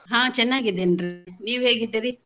ಹಾ ಚೆನ್ನಾಗಿದೇನ್ರಿ ನೀವ್ ಹೇಗಿದ್ದೀರಿ?